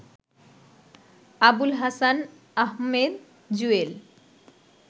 Abul Hasan Ahmed Jewel